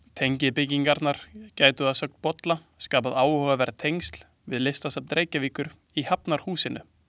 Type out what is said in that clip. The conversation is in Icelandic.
Tengibyggingarnar gætu, að sögn Bolla, skapað áhugaverð tengsl við Listasafn Reykjavíkur í Hafnarhúsinu.